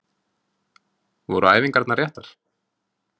Voru æfingarnar réttar?